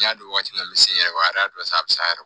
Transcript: N y'a dɔn waati min na n bɛ se yɛrɛ dɔ bɛ se a yɛrɛ